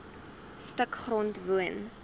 stuk grond woon